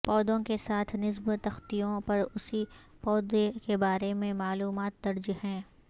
پودوں کے ساتھ نصب تختیوں پر اسی پودے کے بارے میں معلومات درج ہیں